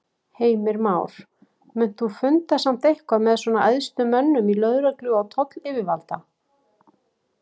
Heimir Már: Munt þú funda samt eitthvað með svona æðstu mönnum í lögreglu og tollayfirvalda?